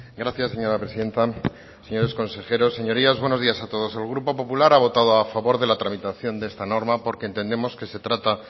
gracias señora presidenta señores consejeros señorías buenos días a todos el grupo popular ha votado a favor de la tramitación de esta norma porque entendemos que se trata